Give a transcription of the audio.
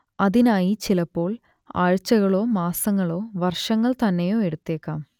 അതിനായി ചിലപ്പോൾ ആഴ്ചകളോ മാസങ്ങളോ വർഷങ്ങൾ തന്നെയോ എടുത്തേക്കാം